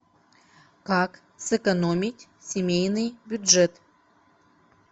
как сэкономить семейный бюджет